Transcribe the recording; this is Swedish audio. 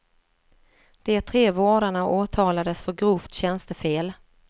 De tre vårdarna åtalades för grovt tjänstefel.